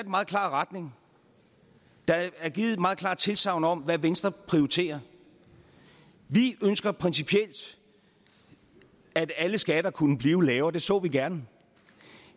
meget klar retning der er givet et meget klart tilsagn om hvad venstre prioriterer vi ønsker principielt at alle skatter kunne blive lavere og det så vi gerne